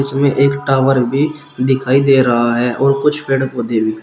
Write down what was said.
इसमें एक टावर भी दिखाई दे रहा है और कुछ पेड़ पौधे भी--